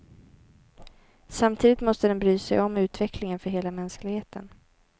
Samtidigt måste den bry sig om utvecklingen för hela mänskligheten.